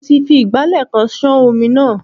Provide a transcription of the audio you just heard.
Mo ti fi ìgbálẹ̀ kan ṣán omi náà.